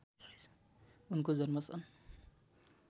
उनको जन्म सन्